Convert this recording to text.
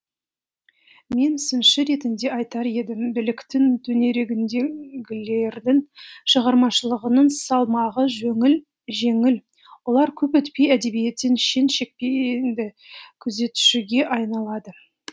мен сыншы ретінде айтар едім биліктің төңірегіндегілердің шығармашылығының салмағы жеңіл олар көп өтпей әдебиеттегі шен шекпенді күзетушіге айналады